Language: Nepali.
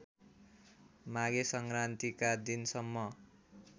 माघे संक्रान्तिका दिनसम्म